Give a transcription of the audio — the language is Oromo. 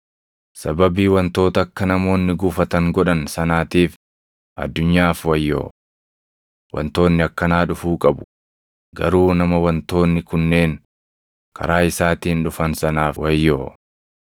Sababii wantoota akka namoonni gufatan godhan sanaatiif addunyaaf wayyoo! Wantoonni akkanaa dhufuu qabu; garuu nama wantoonni kunneen karaa isaatiin dhufan sanaaf wayyoo!